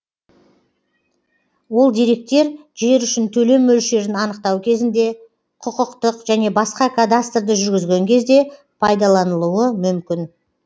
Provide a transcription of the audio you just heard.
ол деректер жер үшін төлем мөлшерін анықтау кезінде құқықтық және басқа кадастрды жүргізген кезде пайдаланылуы мүмкін